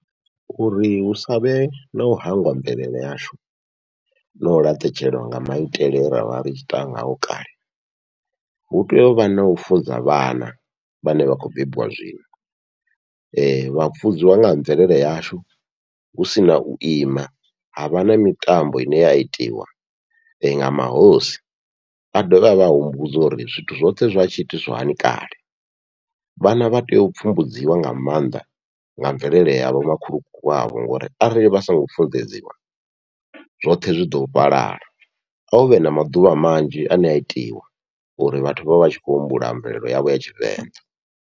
Uri hu savhe nau hangwa mvelele yashu nau laṱetshelwa nga maitele ra vha ri tshi ita ngao kale, hu tea uvha nau funza vhana vhane vha khou bebiwa zwino vha funziwa nga ha mvelele yashu husina u ima havha na mitambo ine ya itiwa nga mahosi vha dovhe vha vha humbudze uri zwithu zwoṱhe zwa tshi itiswa hani kale, vhana vha tea u pfhumbudziwa nga maanḓa nga mvelele ya vho makhulukuku wavho, ngori arali vha songo funḓedziwa zwoṱhe zwi ḓo fhalala a huvhe na maḓuvha manzhi ane a itiwa uri vhathu vhavha vhatshi khou humbula mvelelo yavho ya tshivenḓa.